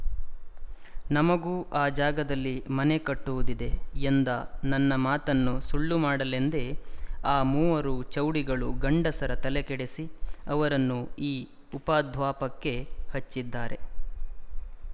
ನಮಗೂ ಆ ಜಾಗದಲ್ಲಿ ಮನೆ ಕಟ್ಟುವುದಿದೆ ಎಂದ ನನ್ನ ಮಾತನ್ನು ಸುಳ್ಳು ಮಾಡಲೆಂದೇ ಆ ಮೂವರು ಚೌಡಿಗಳು ಗಂಡಸರ ತಲೆಕೆಡಿಸಿ ಅವರನ್ನು ಈ ಉಪದ್ವ್ಯಾಪಕ್ಕೆ ಹಚ್ಚಿದ್ದಾರೆ